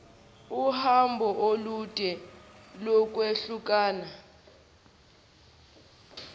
uhambo olude lokwehlukana